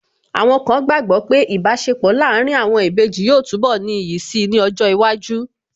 Àwọn kan gbàgbọ́ pé Ìbáṣepọ̀ láàárín àwọn ìbejì yóò túnbọ̀ ní iyì si ní ọjọ́ iwájú